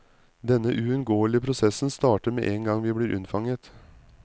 Denne uunngåelige prosessen starter med en gang vi blir unnfanget.